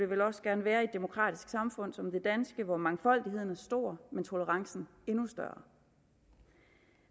vel også gerne være i et demokratisk samfund som det danske hvor mangfoldigheden er stor men tolerancen endnu større